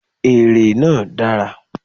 Èrè náà dára.